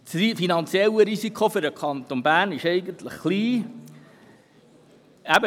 Das finanzielle Risiko für den Kanton Bern ist eigentlich gering.